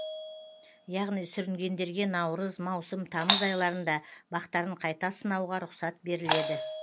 яғни сүрінгендерге наурыз маусым тамыз айларында бақтарын қайта сынауға рұқсат беріледі